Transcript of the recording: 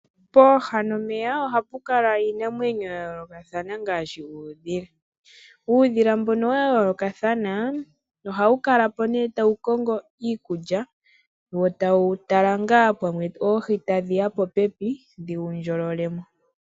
Pooha nomeya oha pu kala ya yoolokathana ngaashi uudhila. Uudhila mbono wa yoolokathana oha wu kalapo nee tawu kongo iikulya wo tawu tala ngaa pamwe oohi tadhi ya popepi dhi wundjololemo.